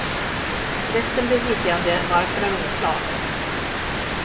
Resten blev liggande, varför är oklart.